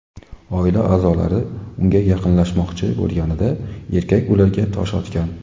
Oila a’zolari unga yaqinlashmoqchi bo‘lganida, erkak ularga tosh otgan.